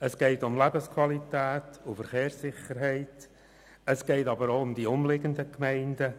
Es geht um Lebensqualität und Verkehrssicherheit, aber auch um die umliegenden Gemeinden.